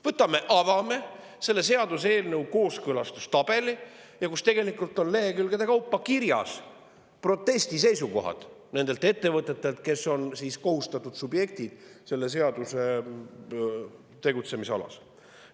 Võtame ja avame seaduseelnõu kooskõlastustabeli, kus tegelikult on lehekülgede kaupa kirjas protestiseisukohti nendelt ettevõtetelt, kes on kohustatud subjektid selle seaduse tegutsemisalas.